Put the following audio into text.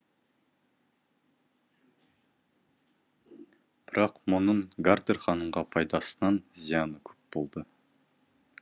бірақ мұның гартер ханымға пайдасынан зияны көп болды